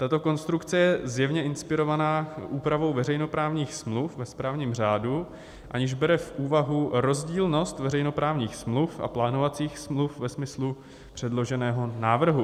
Tato konstrukce je zjevně inspirovaná úpravou veřejnoprávních smluv ve správním řádu, aniž bere v úvahu rozdílnost veřejnoprávních smluv a plánovacích smluv ve smyslu předloženého návrhu.